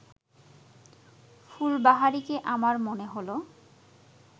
ফুলবাহারিকে আমার মনে হল